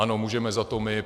Ano, můžeme za to my.